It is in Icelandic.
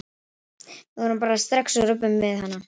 Þrjár stöðvar voru opnaðar í nótt